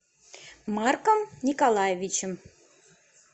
марком николаевичем